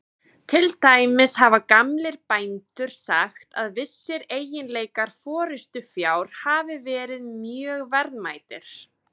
Til dæmis hafa gamlir bændur sagt að vissir eiginleikar forystufjár hafi verið mjög verðmætir.